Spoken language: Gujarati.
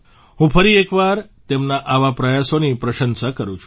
હું ફરી એક વાર તેમના આવા પ્રયાસોની પ્રશંસા કરું છું